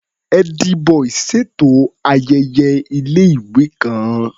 Ẹ́dí-bọì ṣètò ayẹyẹ ilé-ìwé kan.